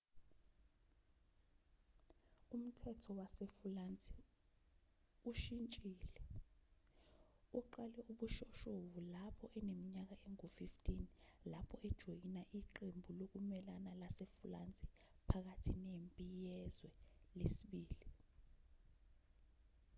umthetho wasefulansi ushintshile uqale ubushoshovu lapho eneminyaka engu-15 lapho ejoyina iqembu lokumelana lasefulansi phakathi nempi yezwe ii